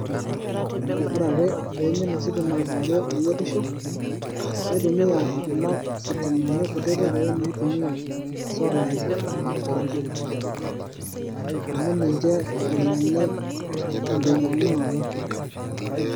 Ore ake peimin ositima kewarie ayierisho, naitumia Kuna sitimani kutitik naitumia esolai emu ninche elelek eng'inyiang'unoto